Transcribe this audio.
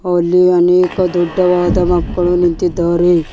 ಅಲ್ಲಿ ಅನೇಕ ದೊಡ್ಡವಾದ ಮಕ್ಕಳು ನಿಂತಿದ್ದಾರೆ.